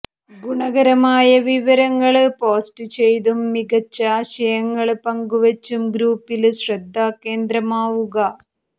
ഗുണകരമായ വിവരങ്ങള് പോസ്റ്റ് ചെയ്തും മികച്ച ആശയങ്ങള് പങ്കുവച്ചും ഗ്രുപ്പില് ശ്രദ്ധാകേന്ദ്രമാവുക